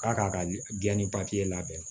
K'a k'a ka gilan ni labɛn na